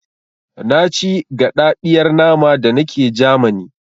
Na ci gaɗaɗiyar nama da nake Jamani